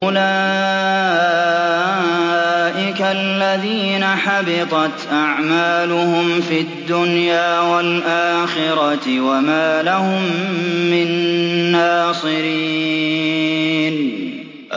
أُولَٰئِكَ الَّذِينَ حَبِطَتْ أَعْمَالُهُمْ فِي الدُّنْيَا وَالْآخِرَةِ وَمَا لَهُم مِّن نَّاصِرِينَ